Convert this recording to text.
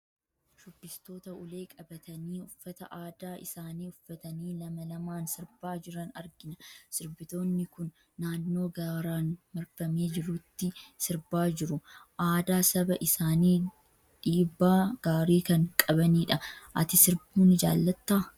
Shubbistoota ulee qabatanii, uffata aadaa isaanii uffatanii lama lamaan sirbaa jiran argina. Sirbitoonni kun naannoo gaaraan marfamee jirutti sirbaa jiru. Aadaa saba isaaniif dhiibbaa gaarii kan qabanidha. Ati sirbuu ni jaalattaa?